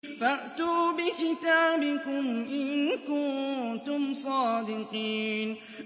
فَأْتُوا بِكِتَابِكُمْ إِن كُنتُمْ صَادِقِينَ